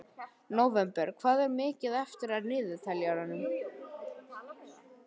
Nóvember, hvað er mikið eftir af niðurteljaranum?